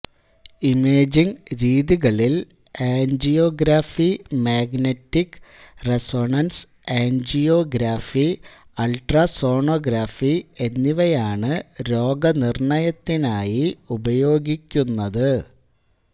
imaging രീതികളിൽ angiography magnetic resonance angiography ultrasonography എന്നിവയാണ് രോഗനിർണയത്തിനായി ഉപയോഗിക്കുന്നത്